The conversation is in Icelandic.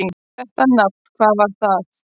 Þetta nafn: hvað var það?